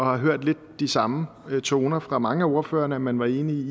har hørt lidt de samme toner fra mange af ordførerne man var enig